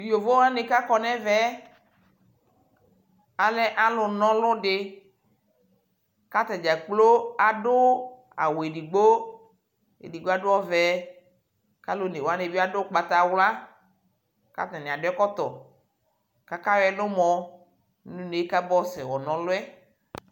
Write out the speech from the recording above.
Tʋ yovo wani kʋ akɔ nʋ ɛvɛ yɛ alɛ alʋnaɔlʋ di ka atadz kplo adʋ awʋ edigbo Edigbo adʋ ɔvɛ kʋ alʋ onewani adʋ ugbataɣla kʋ atani adu ɛkɔtɔ kʋ ayɔ ɛlʋmɔ nʋ une kʋ abayɔ sɛ na ɔlʋ yɛ